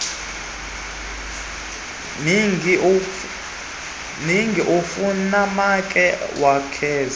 mingi kufumaneka kwaakweli